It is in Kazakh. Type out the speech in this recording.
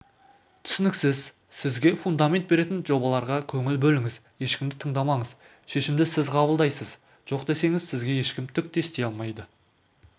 түсініксіз сізге фундамент беретін жобаларға көңіл бөліңіз ешкімді тыңдаманыз шешімді сіз қабылдайыз жоқ десеңіз сізге ешкім түк те істей алмайды